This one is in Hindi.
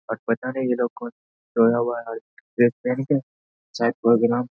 आज पता नहीं ये लोग कौन है? सोया हुआ है ड्रेस पेहेन के। शायद प्रोग्राम --